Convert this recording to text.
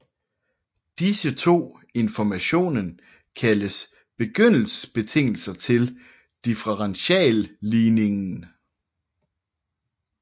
Disse to informationen kaldes begyndelsesbetingelser til differentialligningen